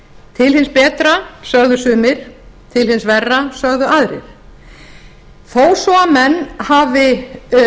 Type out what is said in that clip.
til hins betra sögðu sumir til hins verra sögðu aðrir þó svo að menn hafi